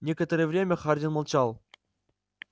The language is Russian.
некоторое время хардин молчал